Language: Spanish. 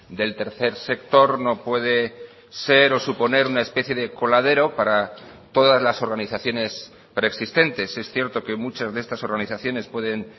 del tercer sector no puede ser o suponer una especie de coladero para todas las organizaciones preexistentes es cierto que muchas de estas organizaciones pueden